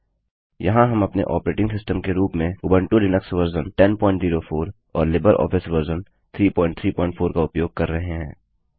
यहाँ हम अपने ऑपरेटिंग सिस्टम के रूप में उबंटु लिनक्स वर्जन 1004 और लिबर ऑफिस वर्जन 334 का उपयोग कर रहे हैं